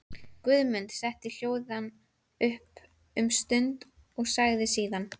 Guðmund setti hljóðan um stund en sagði síðan: